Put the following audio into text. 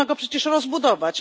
Można go przecież rozbudować.